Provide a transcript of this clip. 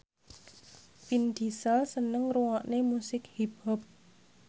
Vin Diesel seneng ngrungokne musik hip hop